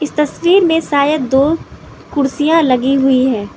तस्वीर में शायद दो कुर्सियां लगी हुई है।